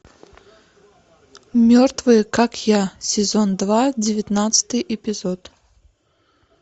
мертвые как я сезон два девятнадцатый эпизод